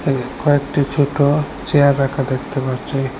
কয়েকটি ছুটো চেয়ার রাখা দেখতে পাচ্চি।